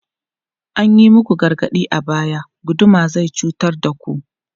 An yi muku gargaɗi a baya, guduma zai cutar da ku!